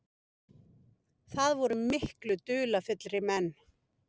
Það voru miklu dularfyllri menn.